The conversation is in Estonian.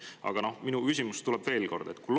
Aga minu küsimus tuleb veel kord selle kohta.